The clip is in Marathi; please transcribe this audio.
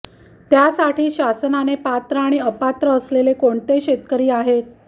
त्यासाठी शासनाने पात्र आणि अपात्र असलेले कोणते शेतकरी आहेत